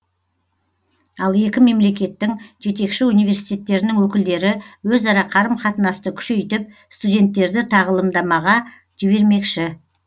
ал екі мемлекеттің жетекші университеттерінің өкілдері өзара қарым қатынасты күшейтіп студенттерді тағылымдамаға жібермекші